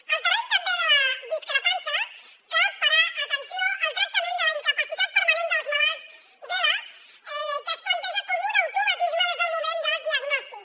en el terreny també de la discrepància cal parar atenció al tractament de la incapacitat permanent dels malalts d’ela que es planteja com un automatisme des del moment del diagnòstic